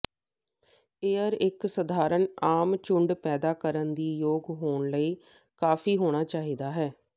air ਇੱਕ ਸਧਾਰਨ ਆਮ ਝੁੰਡ ਪੈਦਾ ਕਰਨ ਦੇ ਯੋਗ ਹੋਣ ਲਈ ਕਾਫ਼ੀ ਹੋਣਾ ਚਾਹੀਦਾ ਹੈ